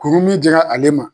Kurun min jɛngɛn ale ma.